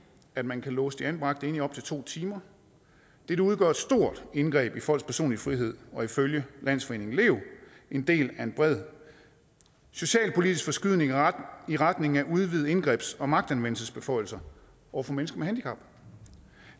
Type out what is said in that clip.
at man kan låse de anbragte inde i op til to timer dette udgør et stort indgreb i folks personlige frihed og er ifølge landsforeningen lev en del af en bred socialpolitisk forskydning i retning af udvidede indgrebs og magtanvendelsesbeføjelser over for mennesker med handicap